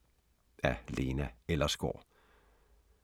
Af Lena Ellersgaard